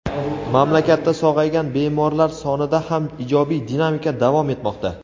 mamlakatda sog‘aygan bemorlar sonida ham ijobiy dinamika davom etmoqda.